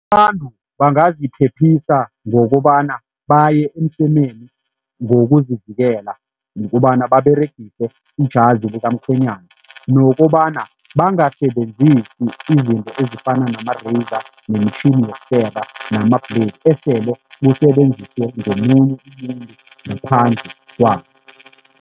Abantu bangaziphephisa ngokobana baye emsemeni ngokuzivikela ngokobana baberegise ijazi likamkhwenyana nokobana bangasebenzisi izinto ezifana nama-raizor nemitjhini yokukera nama-blade esele busebenziswe ngomunye umuntu ngaphandle kwabo.